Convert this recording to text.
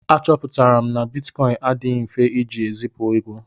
Achọpụtara m na bitkọịn adịghị mfe iji ezipu ego.